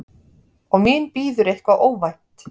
Og mín bíður eitthvað óvænt.